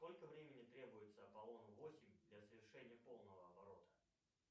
сколько времени требуется апполону восемь для совершения полного оборота